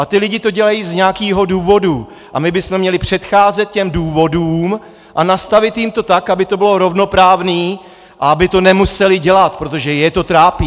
A ti lidé to dělají z nějakého důvodu a my bychom měli předcházet těm důvodům a nastavit jim to tak, aby to bylo rovnoprávné a aby to nemuseli dělat, protože je to trápí.